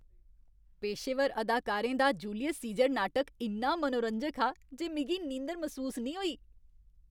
पेशेवर अदाकारें दा जूलियस सीजर नाटक इन्ना मनोरंजक हा जे मिगी नींदर मसूस निं होई।